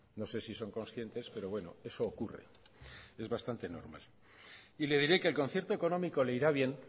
no sé si son conscientes pero bueno eso ocurre es bastante normal y le diré que el concierto económico le irá bien